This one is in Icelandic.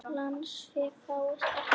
Lánsfé fáist ekki.